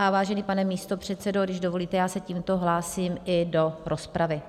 A vážený pane místopředsedo, když dovolíte, já se tímto hlásím i do rozpravy.